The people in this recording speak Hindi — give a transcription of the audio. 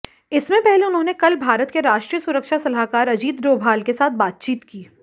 इससे पहले उन्होंने कल भारत के राष्ट्रीय सुरक्षा सलाहकार अजीत डोभाल के साथ बातचीत की